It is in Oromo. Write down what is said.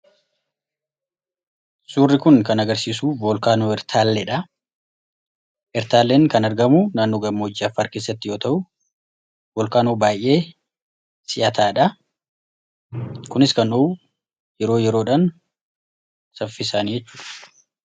Suurri kun kan agarsiisu voolkaanoo Ertaalleedha. Ertaalleen kan argamu naannoo gammoojjii Affaar keessatti yoo ta'u, volkaanoo baay'ee si'ataadha. Kunis kan dhohu yeroo yeroodhan, saffisaanidha.